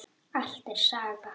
Allt er saga.